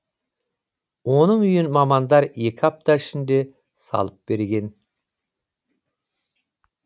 оның үйін мамандар екі апта ішінде салып берген